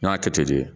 N y'a kɛ ten de